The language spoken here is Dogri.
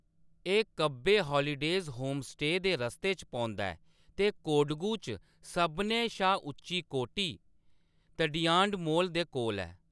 एह्‌‌ कब्बे हालीडेज़ होमस्टे दे रस्ते च पौंदा ऐ ते कोडगु च सभनें शा उच्ची कोटी, तडियांडमोल, दे कोल ऐ।